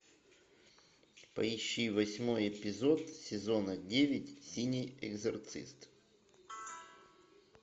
поищи восьмой эпизод сезона девять синий экзорцист